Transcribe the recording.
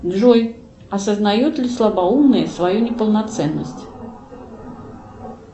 джой осознает ли слабоумный свою неполноценность